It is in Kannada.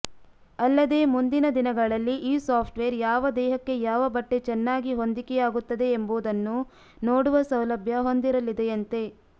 ಅಲ್ಲದೇ ಮುಂದಿನ ದಿನಗಳಲ್ಲಿ ಈ ಸಾಫ್ಟ್ವೇರ್ ಯಾವ ದೇಹಕ್ಕೆ ಯಾವ ಬಟ್ಟೆ ಚೆನ್ನಾಗಿ ಹೊಂದಿಕೆಯಾಗುತ್ತದೆ ಎಂಬುದನ್ನೂ ನೋಡುವ ಸೌಲಭ್ಯ ಹೊಂದಿರಲಿದೆಯಂತೆ